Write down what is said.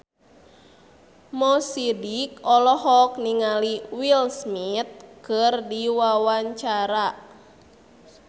Mo Sidik olohok ningali Will Smith keur diwawancara